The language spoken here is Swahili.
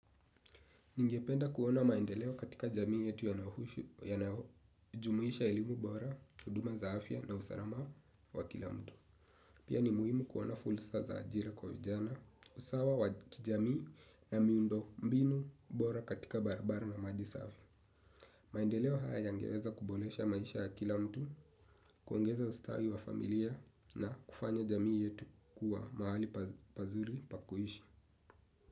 Ningependa kuona maendeleo katika jamii yetu yanayojumuisha elimu bora, huduma za afya na usalama wa kila mtu. Pia ni muhimu kuona fursa za ajira kwa vijana, usawa wa kijamii na miundo mbinu bora katika barabara na maji safi. Maendeleo haya yangeweza kuboresha maisha ya kila mtu, kuongeza ustawi wa familia na kufanya jamii yetu kuwa mahali pazuri pa kuishi.